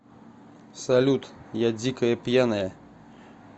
салют я дикая пьяная